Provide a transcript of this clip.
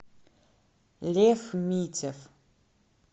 лев митев